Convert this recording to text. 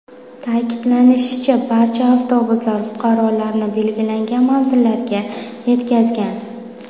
Ta’kidlanishicha, barcha avtobuslar fuqarolarni belgilangan manzillarga yetkazgan.